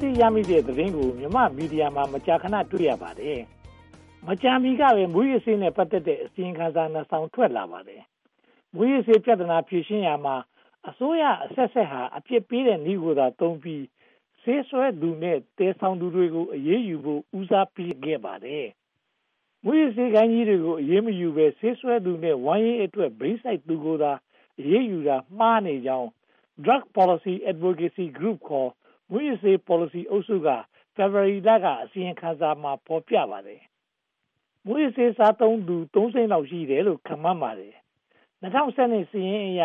ဆီးရမိတဲ့သတင်းကို မြန်မာ့မီဒီယာမှာ မကြာခဏ တွေ့နေရပါတယ်။ မကြာမီကပဲ မူးယစ်ဆေးနဲ့ ပတ်သက်တဲ့ အစီရင်ခံစာ နှစ်စောင်ထွက်လာပါတယ်။ မူးယစ်ဆေးပြဿနာ ဖြေရှင်းရာမှာ အစိုးရအဆက်ဆက်ဟာ အပြစ်ပေးတဲ့နည်းကိုသာသုံးပြီး ဆေးစွဲသူနဲ့ သယ်ဆောင်သူတွေကို အရေးယူဖို့ ဦးစားပေးခဲ့ပါတယ်။ မူးယစ်ဆေးဂိုဏ်းကြီးတွေကို အရေးမယူဘဲ ဆေးစွဲသူနဲ့ ဝမ်းရေးအတွက် ဘိန်းစိုက်သူတွေကိုသာ အရေးယူတာမှားနေကြောင်း Drug Policy Advocacy Group (ခေါ်) မူးယစ်ဆေး ပေါ်လစီအုပ်စုက ဖေဖေါ်ဝါရီလထုတ် အစီရင်ခံစာမှာ ဖော်ပြထားပါတယ်။ မူးယစ်ဆေးစားသုံးသူ သုံးသိန်းလောက်ရှိတယ်လို့ ခန့််မှန်းပါတယ်။ ၂၀၁၂ စာရင်းအရ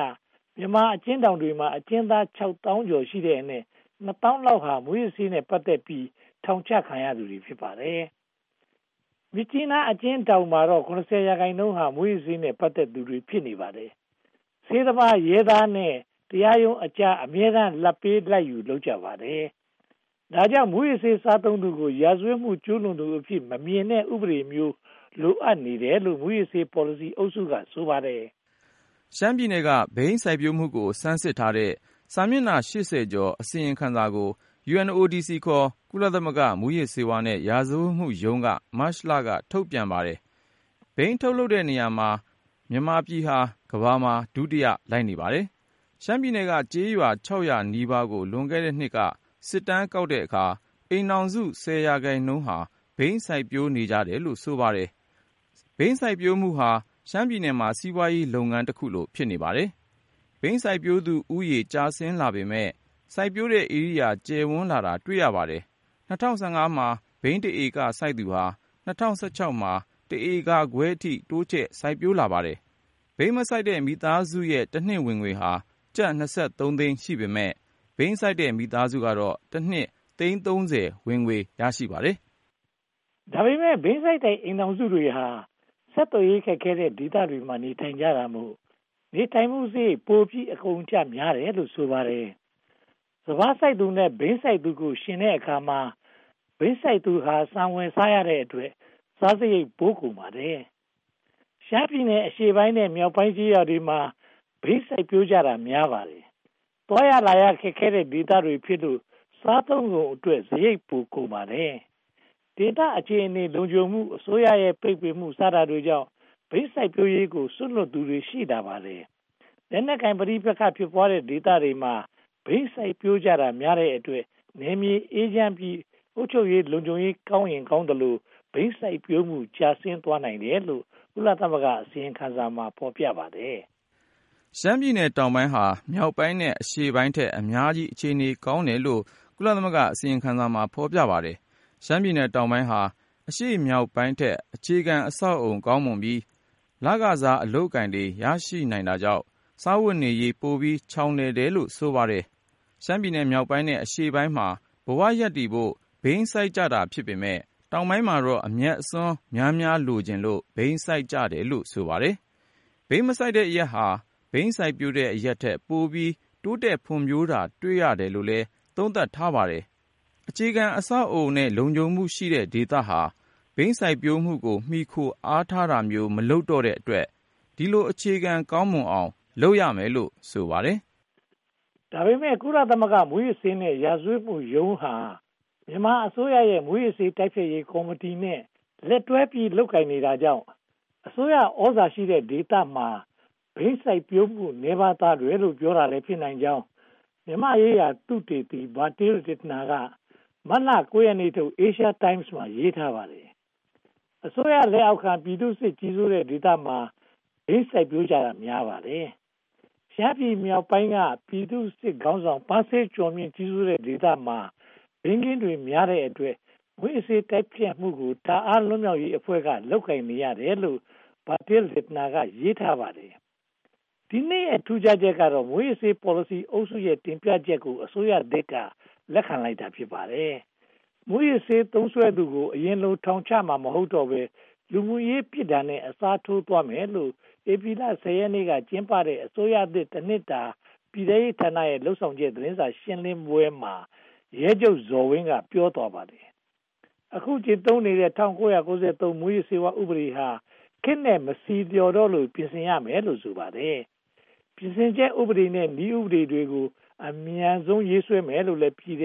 မြန်မာအကျဉ်းထောင်တွေထဲမှာ အကျဉ်းသောင်း (၆) သောင်းလောက်ရှိတဲ့အနက် နှစ်သောင်းလောက်သာ မူးယစ်ဆေးနဲ့ ပတ်သက်ပြီး ထောင်ချခံရသူတွေ ဖြစ်ပါတယ်။ မြစ်ကြီးနားအကျဉ်းထောင်မှာတော့ (၇၀) ရာခိုင်နှုန်းဟာ မူးယစ်ဆေးနဲ့ ပတ်သက်သူတွေ ဖြစ်နေပါတယ်။ ဆေးသမား၊ ရဲသား နဲ့ တရားရုံးအကြား အမြဲတမ်း လာဘ်ပေးလာဘ်ယူ လုပ်ကြပါတယ်။ ဒါကြောင့် မူးယစ်ဆေး စားသုံးသူကို ရာဇဝတ်မှု ကျူးလွန်သူအဖြစ် မမြင်တဲ့ဥပဒေမျိုး လိုအပ်နေတယ်လို့ မူးယစ်ဆေး ပေါ်လစီအုပ်စုက ဆိုပါတယ်။ ရှမ်းပြည်နယ်က ဘိန်းစိုက်ပျိုးမှုကို ဆန်းစစ်ထားတဲ့ စာမျက်နှာ (၈၀) ကျော် အစီရင်ခံစာကို UNODC (ခေါ်) ကုလသမဂ္ဂ မူးယစ်ဆေးနဲ့ ရာဇဝတ်မှုရုံးက မတ်လ က ထုတ်ဝေပါတယ်။ ဘိန်းထုတ်လုပ်တဲ့နေရာမှာ မြန်မာပြည်ဟာ ကမ္ဘာမှာ ဒုတိယ လိုက်နေပါတယ်။ ရှမ်းပြည်နယ်က ကျေးရွာ (၆၀၀) နီးပါးကို လွန်ခဲ့တဲ့နှစ်က စစ်တမ်းကောက်တဲ့အခါမှာ အိမ်ထောင်စု ဆယ်ရာခိုင်နှုန်းဟာ ဘိန်းစိုက်ပျိုးနေကြပါတယ်လို့ ဆိုပါတယ်။ ဘိန်းစိုက်ပျိုးမှုဟာ ရှမ်းပြည်နယ်မှာ စီးပွားရေးလုပ်ငန်းတခုကိုလို ဖြစ်နေပါတယ်။ ဘိန်းစိုက်ပျိုးသူဦးရေ ကျဆင်းလာပေမယ့် စိုက်ပျိုးတဲ့ဧရိယာ ကျယ်ဝန်းလာတာ တွေ့ရပါတယ်။ ၂၀၁၅ မှာ ဘိန်းတဧက စိုက်သူဟာ ၂၀၁၆ မှာ တဧကခွဲအထိ တိုးချဲ့စိုက်ပျိုးလာပါတယ်။ ဘိန်းမစိုက်တဲ့ မိသားစုရဲ့ တနှစ်ဝင်ငွေဟာ ကျပ် (၂၃) သိန်း ရှိပေမယ့် ဘိန်းစိုက်တဲ့ မိသားစုကတော့ တနှစ်သိန်း (၃၀) ဝင်ငွေ ရပါတယ်။ ဒါပေမဲ့ ဘိန်းစိုက်တဲ့ အိမ်ထောင်စုတွေဟာ ဆက်သွယ်ရေး ခက်ခဲတဲ့ဒေသတွေမှာ နေထိုင်ကြတာမို့ နေထိုင်မှုစရိတ် ပိုပြီးအကုန်အကျ များတယ်လို့ ဆိုပါတယ်။ စပါးစိုက်သူနဲ့ ဘိန်းစိုက်သူတို့ကို ယှဉ်ကြည့်တဲ့အခါမှာ ဘိန်းစိုက်သူဟာ ဆန်ဝယ်စားရတဲ့အတွက် စားစရိတ်ပိုကုန်ပါတယ်။ ရှမ်းပြည်နယ် အရှေ့ပိုင်းနဲ့ မြောက်ပိုင်းကျေးရွာတွေမှာ ဘိန်းစိုက်ပျိုးကြတာ များပါတယ်။ သွားရလာရ ခက်ခဲတဲ့ဒေသတွေဖြစ်လို့ စားသုံးကုန်အတွက် စရိတ်ပိုကုန်ပါတယ်။ ဒေသအခြေအနေ လုံခြုံမှု၊ အစိုးရရဲ့ ပိတ်ပင်မှု စတာတွေကြောင့် ဘိန်းစိုက်ပျိုးရေးကို စွန့်လွှတ်လိုက်သူတွေ ရှိပါတယ်။ လက်နက်ကိုင် ပဋိပက္ခ ဖြစ်ပွားတဲ့ဒေသတွေမှာ ဘိန်းစိုက်ပျိုးကြတာများတဲ့အတွက် နယ်မြေအေးချမ်းပြီး အုပ်ချုပ်ရေး၊ လုံခြုံရေးကောင်းရင်ကောင်းသလို ဘိန်းစိုက်ပျိုးမှု ကျဆင်းသွားနိုင်တယ်လို့ ကုလသမဂ္ဂ အစီရင်ခံစာမှာ ဖော်ပြပါတယ်။ ရှမ်းပြည်နယ်တောင်ပိုင်းဟာ မြောက်ပိုင်းနဲ့ အရှေ့ပိုင်းထက် အများကြီး အခြေအနေ ကောင်းတယ်လို့လည်း ကုလသမဂ္ဂ အစီရင်ခံစာမှာ ဖော်ပြပါတယ်။ ရှမ်းပြည်နယ်တောင်ပိုင်းဟာ အရှေ့မြောက်ပိုင်းထက် အခြေခံအဆောက်အအုံ ကောင်းမွန်ပြီး လခစား အလုပ်အကိုင်တွေ ရရှိနိုင်တာကြောင့် စားဝတ်နေရေး ပိုပြီးချောင်လည်တယ်လို့ ဆိုပါတယ်။ ရှမ်းပြည်နယ်မြောက်ပိုင်းနဲ့ အရှေ့ပိုင်းမှာ ဘဝရပ်တည်ဖို့ ဘိန်းစိုက်ကြတာ ဖြစ်ပေမယ့် တောင်ပိုင်းမှာတော့ အမြတ်အစွန်းများများ လိုချင်လို့ ဘိန်းစိုက်ကြတာလို့ ဆိုပါတယ်။ ဘိန်းမစိုက်တဲ့အရပ်ဟာ ဘိန်းစိုက်ပျိုးတဲ့ အရပ်ထက် ပိုပြီးတိုးတက်ဖွံ့ဖြိုးတာ တွေ့ရတယ်လို့လည်း သုံးသပ်ထားပါတယ်။ အခြေခံအဆောက်အအုံနဲ့ လုံခြုံမှုရှိတဲ့ဒေသဟာ ဘိန်းစိုက်ပျိုးမှုကို မှီခိုအားထားတာမျိုး မလုပ်တော့တဲ့အတွက် ဒီလို အခြေခံကောင်းမွန်အောင် လုပ်ရမယ်လို့ ဆိုပါတယ်။ ဒါပေမဲ့ ကုလသမဂ္ဂ မူးယစ်ဆေးနဲ့ ရာဇဝတ်မှုရုံးဟာ မြန်မာအစိုးရရဲ့ မူးယစ်ဆေး တိုက်ဖျက်ရေးကော်မတီနဲ့ လက်တွဲလုပ်ကိုင်နေတာကြောင့် အစိုးရသြဇာရှိတဲ့ဒေသမှာ ဘိန်းစိုက်ပျိုးမှု နည်းပါးသွားတယ်လို့ ပြောတာလည်း ဖြစ်နိုင်ကြောင်း မြန်မာ့သုတေသီ Bertil Lintner က မတ်လ (၉) ရက်နေ့ထုတ် Asian Times မှာ ရေးထားပါတယ်။ အစိုးရလက်အောက်ခံ ပြည်သူ့စစ်ခေါင်းဆောင် ပန်းဆေးကျော်မြင့် ကြီးစိုးတဲ့ဒေသမှာ ဘိန်းခင်းတွေများတဲ့အတွက် မူးယစ်ဆေးတိုက်ဖျက်မှုကို တာအန်း လွတ်မြောက်ရေးတပ်ဖွဲ့က လုပ်ကိုင်နေရတယ်လို့ Bertil Lintner က ရေးထားပါတယ်။ ဒီနှစ်ရဲ့ ထူးခြားချက်ကတော့ မူးယစ်ဆေး ပေါ်လစီအုပ်စုရဲ့ တင်ပြချက်တွေကို အစိုးရသစ်က လက်ခံလိုက်တာ ဖြစ်ပါတယ်။ မူးယစ်ဆေးသုံးစွဲသူကို အရင်လို ထောင်ချမှာ မဟုတ်တော့ဘဲ လူမှုရေး ပြစ်ဒဏ်နဲ့ အစားထိုးသွားမယ်လို့ ဧပြီလ (၁၀) ရက်နေ့က ကျင်းပတဲ့ အစိုးရသစ်တနှစ်တာ ပြည်ထဲရေးဌာနရဲ့ လုပ်ဆောင်ချက် သတင်းစာရှင်းလင်းပွဲမှာ ရဲချုပ်ဇော်ဝင်း က ပြောသွားပါတယ်။ အခု ကျင့်သုံးနေတဲ့ ၁၉၉၃ မူးယစ်ဆေးဝါး ဥပဒေဟာ ခေတ်နဲ့မဆီလျော်တော့လို့ ပြင်ဆင်မယ်လို့ ဆိုပါတယ်။ ပြင်ဆင်ချက် ဥပဒေနဲ့ နည်းဥပဒေတွေကို အမြန်ဆုံး ရေးဆွဲမယ်လို့ ပြည်ထ